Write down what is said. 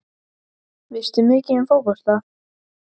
Veistu mikið um fótbolta?